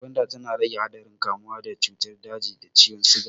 Gwanda tana rage haɗarin kamuwa da cutar daji da ciwon siga.